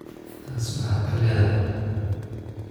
Taas maxaad ka leedahay?